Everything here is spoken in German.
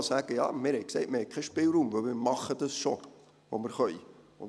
Ja, wir haben gesagt, «Wir haben keinen Spielraum, weil wir schon machen, was wir können».